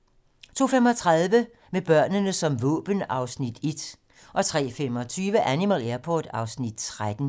02:35: Med børnene som våben (Afs. 1) 03:25: Animal Airport (Afs. 13)